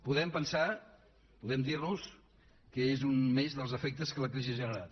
podem pensar podem dir nos que és un més dels efectes que la crisi ha generat